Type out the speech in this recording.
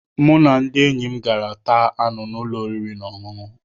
Mụ na ndị enyi m gara taa anụ n'ụlọ oriri na ọṅụṅụ